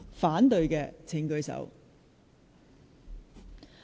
反對的請舉手。